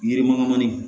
Yirimakamanin